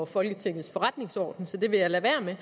folketingets forretningsorden så det vil jeg lade være med